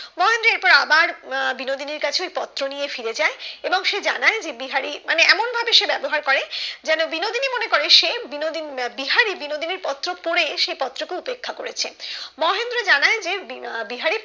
মহেন্দ্র এরপর আবার বিনোদিনীর কাছে ওই পত্র নিয়ে ফিরে যায় এবং সে জানায় যে বিহারি মানে এমন ভাবে সে ব্যবহার করে যেন বিনোদিনী মনে করে সে বিনোদী বিহারি বিনোদিনীর পত্র পড়ে সে, পত্র কে উপেক্ষা করেছে মহেন্দ্র জানায় যে বিনা বিহারি